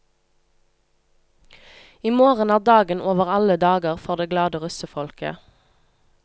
I morgen er dagen over alle dager for det glade russefolket.